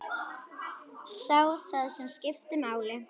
Sá það sem skipti máli.